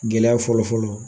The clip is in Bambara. Gɛlɛya fɔlɔfɔlɔ.